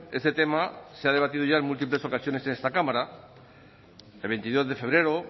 este tema se ha debatido ya en múltiples ocasiones en esta cámara el veintidós de febrero